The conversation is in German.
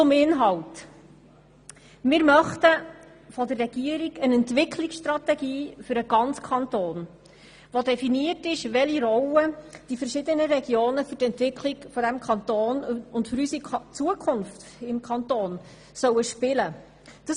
Zum Inhalt: Wir möchten von der Regierung eine Entwicklungsstrategie für den ganzen Kanton, worin definiert ist, welche Rolle die verschiedenen Regionen für die Entwicklung unseres Kantons und für unsere Zukunft im Kanton spielen sollen.